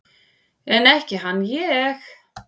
En ekki hann ég!